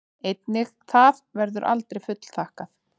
Einnig það verður aldrei fullþakkað.